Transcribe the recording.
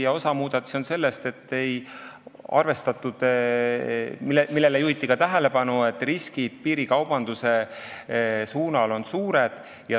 Ja osa muudatusi tuleb sellest, et ei arvestatud seda, millele juhiti ka tähelepanu, et piirikaubandusega seotud riskid on suured.